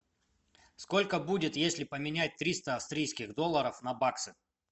сколько будет если поменять триста австрийских долларов на баксы